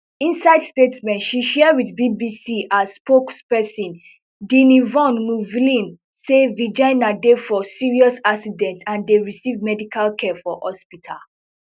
inside statement she share with bbc her spokesperson dini von mueffling say virginia dey for serious accident and dey receive medical care for hospital